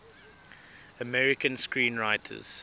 american screenwriters